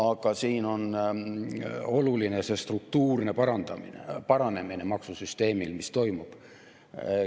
Aga siin on oluline maksusüsteemi struktuurne paranemine, mis toimub.